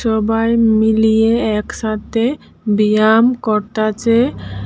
সবাই মিলিয়ে একসাথে ব্যায়াম করতাসে।